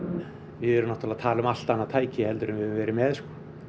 við erum náttúrulega að tala um allt annað tæki en við höfum verið með